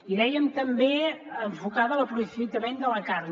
i dèiem també enfocada a l’aprofitament de la carn